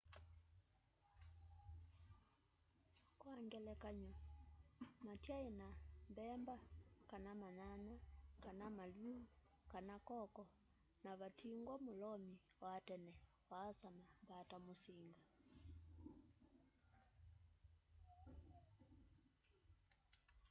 kwa ngelekany'o matyaina mbemba kana manyanya kana maluu kana koko na vatingwa mulomi wa tene waasama mbata musinga